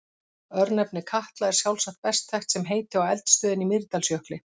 Örnefnið Katla er sjálfsagt best þekkt sem heiti á eldstöðinni í Mýrdalsjökli.